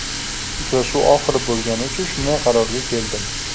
Uchrashuv oxiri bo‘lgani uchun shunday qarorga keldim.